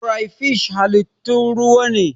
Crayfish halittun ruwa ne.